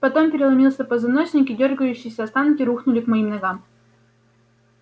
потом переломился позвоночник и дёргающиеся останки рухнули к моим ногам